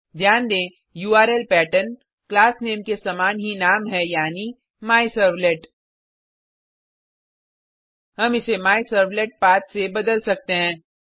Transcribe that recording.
ध्यान दें URL pattern class name के समान ही नाम है यानि मायसर्वलेट हम इसे मायसर्वलेटपाठ से बदल सकते हैं